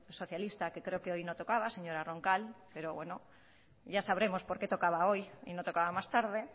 socialista que creo que hoy no tocaba señora roncal pero bueno ya sabremos porque tocaba hoy y no tocaba más tarde